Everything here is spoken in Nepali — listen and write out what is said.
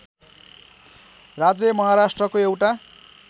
राज्य महाराष्ट्रको एउटा